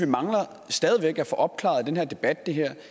mangler at få opklaret i den her debat